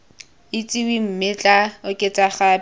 itsiweng mme tla oketsa gape